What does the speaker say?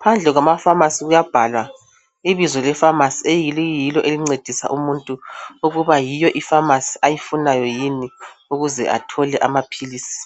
phandle kwamafamasi kuyabhalwa ibizo lefamasi eliyilo elincedisa umuntu ukuba yiyo ifamasi ayifunayo yini ukuze athole amaphilisi.